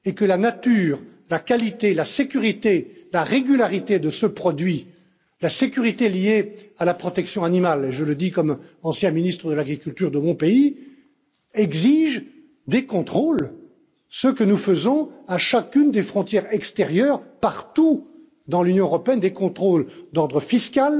La nature, la qualité, la sécurité, la régularité de ce produit, la sécurité liée à la protection animale je le dis comme ancien ministre de l'agriculture de mon pays exigent des contrôles, ce que nous faisons à chacune des frontières extérieures, partout dans l'Union européenne des contrôles d'ordre fiscal,